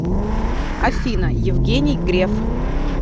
афина евгений греф